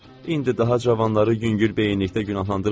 İndi daha cavanları yüngülbeyinlikdə günahlandırmayacam.